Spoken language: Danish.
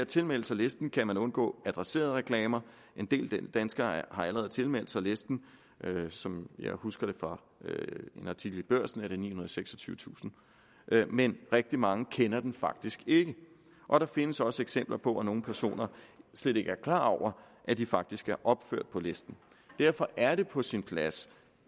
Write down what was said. tilmelde sig listen kan man undgå adresserede reklamer en del danskere har allerede tilmeldt sig listen som jeg husker det fra en artikel i børsen er det nihundrede og seksogtyvetusind men rigtig mange kender den faktisk ikke og der findes også eksempler på at nogle personer slet ikke er klar over at de faktisk er opført på listen derfor er det på sin plads